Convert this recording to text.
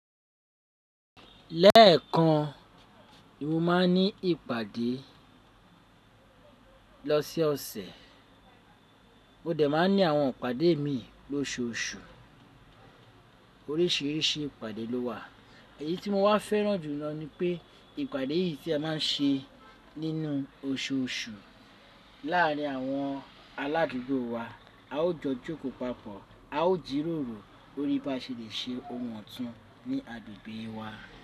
Lẹ́ẹ̀kan, mo máa ń ní ìpàdé lọse ọsẹ̀, mo dẹ̀ máa ń ní àwọn ìpàdé mi lóṣù osù. Oríṣìíríṣìí ìpàdé lówà, èyí tí mo wá fẹ́ràn jù lọ ni pé ìpàdé yìí tí a má ń ṣe nínú oṣooṣù láàrín àwọn aládùúgbò wa. A ó jọ jókòó papọ̀, a ó jírórò lorí bá ṣe lè ṣe ohun ọ̀tún ní agbègbè wa.